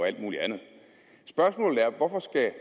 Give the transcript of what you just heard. alt muligt andet spørgsmålet er hvorfor skal